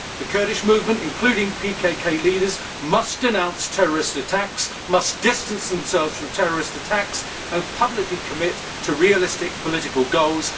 The Kurdish movement, including PKK leaders, must denounce terrorist attacks, must distance themselves from terrorist attacks, and publicly commit to realistic political goals.